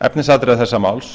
efnisatriða þessa máls